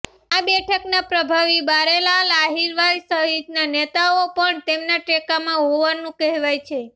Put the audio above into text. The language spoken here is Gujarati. આ બેઠકના પ્રભાવી બારેલાલ અહિરવાર સહિતના નેતાઓ પણ તેમના ટેકામાં હોવાનું કહેવાય છે